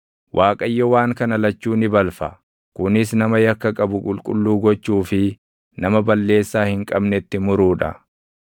Waaqayyo waan kana lachuu ni balfa; kunis nama yakka qabu qulqulluu gochuu fi // nama balleessaa hin qabnetti muruu dha.